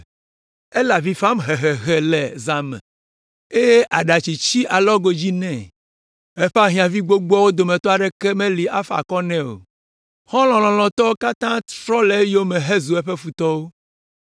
“Ele avi fam hehehe le zã me eye aɖatsi tsi alɔgo dzi nɛ. Eƒe ahiãvi gbogboawo dometɔ aɖeke meli afa akɔ nɛ o. Xɔlɔ̃ lɔlɔ̃wo katã trɔ le eyome hezu eƒe futɔwo.